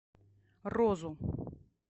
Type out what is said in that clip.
розу